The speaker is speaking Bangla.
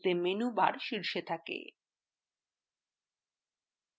এতেmenu bar শীর্ষে থাকে